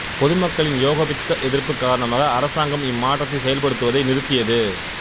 பொது மக்களின் ஏகோபித்த எதிர்ப்பு காரணமாக அரசாங்கம் இம்மாற்றத்தை செயல்படுத்துவதை நிறுத்தியது